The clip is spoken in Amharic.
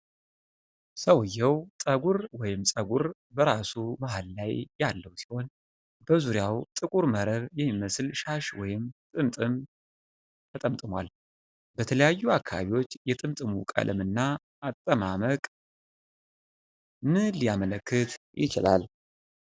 ሰውየው ጠጉር ወይም ፀጉር በራሱ መሀል ላይ ያለው ሲሆን፤ በዙሪያው ጥቁር መረብ የሚመስል ሻሽ ወይም ጥምጥም ተጠምጥሟል፡፡ በተለያዩ አካባቢዎች የጥምጥሙ ቀለም እና አጠማመቅ ምን ሊያመለክት ይችላል?